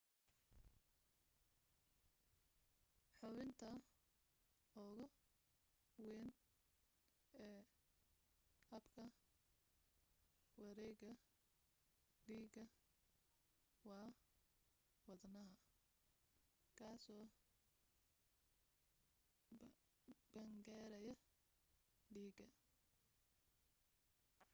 xubinta ugu weyn ee habka wareega dhiiga waa wadnaha kaasoo bamgareeya dhiiga